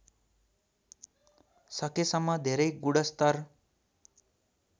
सकेसम्म धेरै गुणस्तर